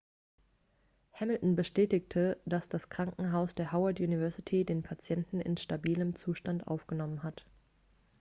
hamilton bestätigte dass das krankenhaus der howard university den patienten in stabilem zustand aufgenommen hat